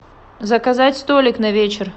заказать столик на вечер